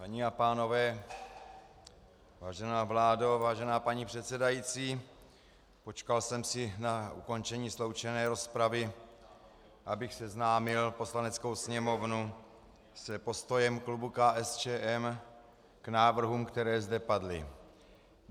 Paní a pánové, vážená vládo, vážená paní předsedající, počkal jsem si na ukončení sloučené rozpravy, abych seznámil Poslaneckou sněmovnu s postojem klubu KSČM k návrhům, které zde padly.